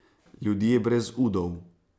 Ljudje brez udov.